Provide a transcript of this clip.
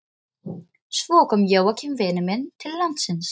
Svo kom Jóakim vinur minn til landsins.